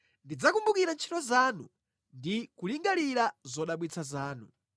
Ndidzakumbukira ntchito zanu ndi kulingalira zodabwitsa zanu.”